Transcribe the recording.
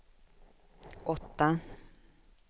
åtta